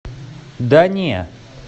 да не